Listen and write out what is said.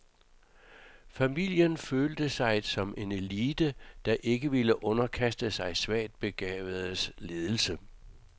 Familien følte sig som en elite, der ikke ville underkaste sig svagt begavedes ledelse.